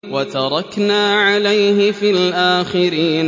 وَتَرَكْنَا عَلَيْهِ فِي الْآخِرِينَ